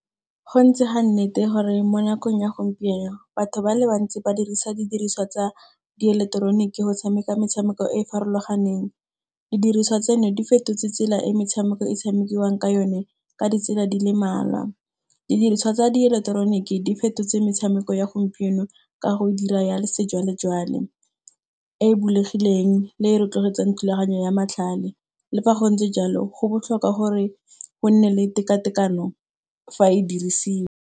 Go ntse ga nnete gore mo nakong ya gompieno batho ba le bantsi, ba dirisa didiriswa tsa di ileketeroniki go tshameka metshameko e e farologaneng. Didiriswa tseno di fetotse tsela e metshameko e tshamekiwang ka yone ka ditsela di le mmalwa. Didiriswa tsa di eleketeroniki di fetotse metshameko ya gompieno ka go dira ya sejwalejwale, e e bulegileng le e rotloetsang thulaganyo ya matlhale. Le fa go ntse jalo go botlhokwa gore go nne le tekatekano fa e dirisiwa.